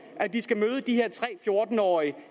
at de skal møde de her tre fjorten årige